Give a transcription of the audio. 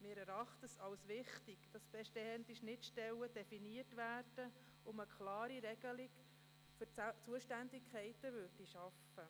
Wir erachten es als wichtig, bestehende Schnittstellen zu definieren und eine klare Regelung für die Zuständigkeiten zu schaffen.